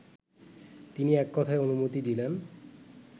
তিনি এককথায় অনুমতি দিলেন